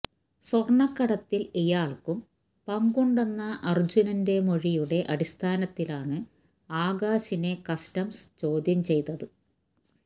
സ്വര്ണ്ണക്കടത്തില് ഇയാള്ക്കും പങ്കുണ്ടെന്ന അര്ജുന്റെ മൊഴിയുടെ അടിസ്ഥാനത്തിലാണ് ആകാശിനെ കസ്റ്റംസ് ചോദ്യം ചെയ്തത്